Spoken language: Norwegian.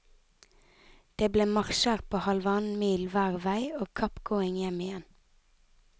Det ble marsjer på halvannen mil hver vei og kappgåing hjem igjen.